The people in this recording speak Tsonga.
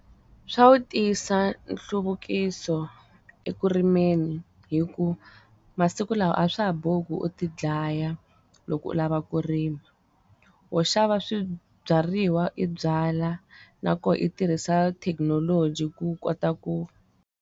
Swa wu tisa nhluvukiso ekurimeni hikuva masiku lawa a swa ha bohi ku u ti dlaya loko u lava ku rima wo xava swibyariwa i byala na koho u tirhisa thekinoloji ku kota ku.